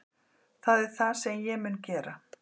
Það er það sem ég mun gera